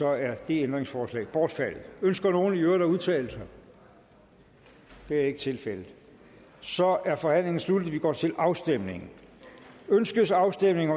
er det ændringsforslag bortfaldet ønsker nogen i øvrigt at udtale sig det er ikke tilfældet så er forhandlingen sluttet vi går til afstemning til afstemning